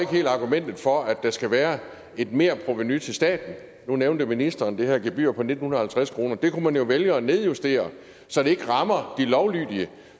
helt argumentet for at der skal være et merprovenu til staten nu nævnte ministeren det her gebyr på nitten halvtreds kroner det kunne man jo vælge at nedjustere så det ikke rammer de lovlydige